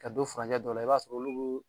Ka don furancɛ dɔ la i b'a sɔrɔ olu